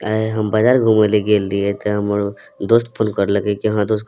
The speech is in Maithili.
आय हम बाजार घूमे ले गेल रिहे ते हमर दोस्त फोन करलके की हां दोस्त --